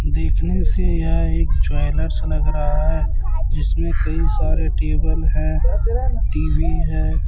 देखने से यह एक ज्वेलर्स लग रहा है जिसमें कई सारे टेबल हैं टी_वी है।